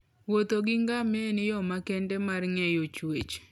Wuotho gi ngamia en yo makende mar ng'eyo chwech.